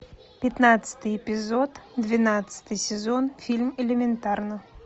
пятнадцатый эпизод двенадцатый сезон фильм элементарно